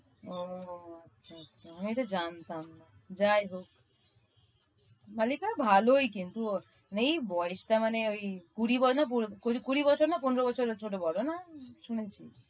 ও আচ্ছা আচ্ছা আমি এটা জানতাম না। যায় হোক, মালিকা ভালই কিন্তু ওর এই বয়সটা মানে ওই কুড়ি কুড়ি বছর না পনের বছর ছোট বড় না? শুনেছি।